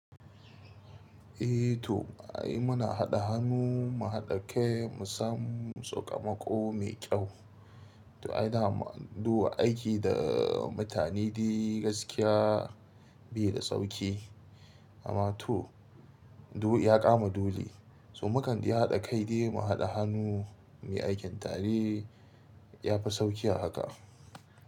Eh to, ai muna haɗa hannu mu haɗa kai mu samu tsokamako mai kyau. To ai daman zuwa aiki da mutane dai gaskiya biyu da sauki. Amma to, du ya kama dole. To mukan iya haɗa kai dai mu haɗa hannu mai aikin tare ya fi sauƙi a haka.